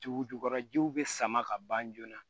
Dugu jukɔrɔ jiw bɛ sama ka ban joona